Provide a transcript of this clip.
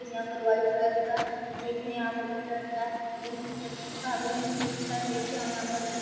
यहाँ पर white colour का केक है यहाँ पर बहुत अत्ता बहुत अच्छा बहुत ही ची अच्छा है केक है यहाँ पर --